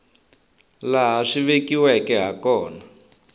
laha swi vekiweke ha kona